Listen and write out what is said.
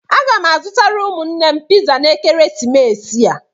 Aga m azụtara ụmụnne m piza na ekeresimesi a.